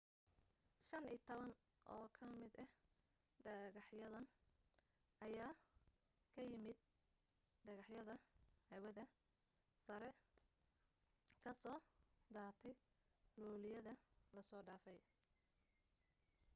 15 oo ka mid ah dhegaxyadan ayaa ka yimaadeen dhagaxyada hawada sare ka soo daatay luuliyada lasoo dhaafay